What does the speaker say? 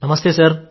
నమస్తే సార్